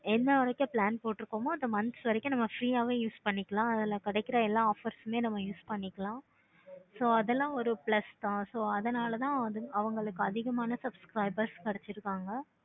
என்ன வரைக்கு plan போட்டுருக்குமே அந்த months வரைக்கு free யாவே use பண்ணிக்கலாம் அதுல கிடைக்குற எல்லா offers நீ அதுல use பண்ணிக்கலாம். so அதெல்லாம் ஒரு plus தான் so அதனால தான் அவங்களுக்கு அதிகமான subscribers கிடைச்சிருக்காங்க